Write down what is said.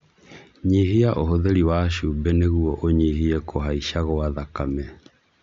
Nyihia ũhũthĩri wa cumbĩ nĩguo ũnyihie kũhaica gwa thakame.